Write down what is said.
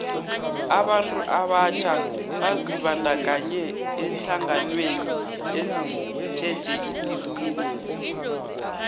abantu abatjha bazibandakanye eenhlanganweni ezitjheje ituthuko